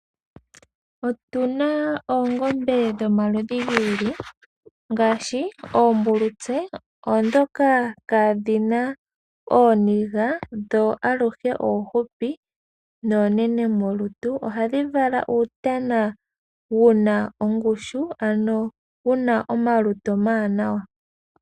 Otuna oongombe dhomaludhi gi ili ngashi oombulutse. Oombulutse dhoka ka dhina ooniga dho aluhe onhupi dho onene molutu nuutana wadho oha wu kala wuna omalutu omawanawa.